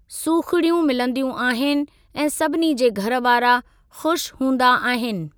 सुखिड़ियूं मिलंदियूं आहिनि ऐं सभिनी जे घर वारा ख़ुश हूंदा आहिनि।